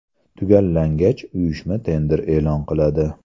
Tugallangach, uyushma tender e’lon qiladi.